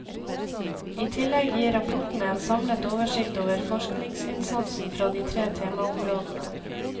I tillegg gir rapportene en samlet oversikt over forskningsinnsatsen fra de tre temaområdene.